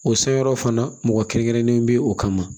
O san yɔrɔ fana mɔgɔ kɛrɛnkɛrɛnnen bɛ o kama